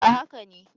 A haka ne